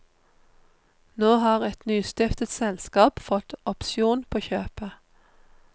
Nå har et nystiftet selskap fått opsjon på kjøpet.